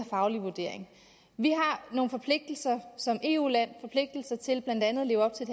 faglige vurdering vi har nogle forpligtelser som eu land til blandt andet at leve op til